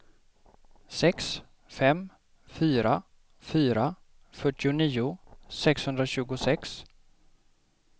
sex fem fyra fyra fyrtionio sexhundratjugosex